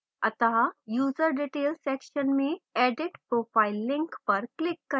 अत: user details section में edit profile link पर click करें